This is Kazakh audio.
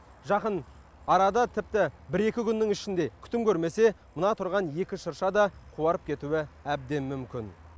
жақын арада тіпті бір екі күннің ішінде күтім көрмесе мына тұрған екі шырша да қуарып кетуі әбден мүмкін